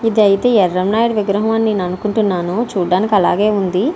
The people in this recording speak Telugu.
ఇదైతే ఎర్రమనాయుడు విగ్రహం అని నేను అనుకుంటాను చూడ్డానికి అలానే ఉంది.